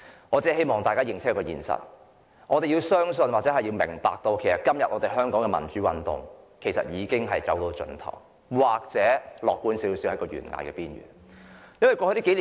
我只希望大家清楚一個事實，我們要明白，香港的民主運動已經走到盡頭，而較為樂觀的說法是，已經在懸崖邊緣。